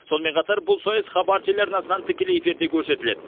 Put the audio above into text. сонымен қатар бұл сайыс хабар телеарнасынан тікелей эфирде көрсетіледі